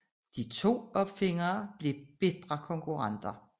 De to opfindere blev bitre konkurrenter